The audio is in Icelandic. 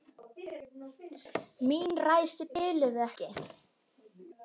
Mín ræsi biluðu ekki.